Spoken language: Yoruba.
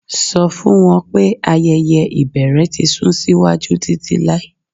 Sọ fun wọn pe ayẹyẹ ibẹrẹ ti sun siwaju titilai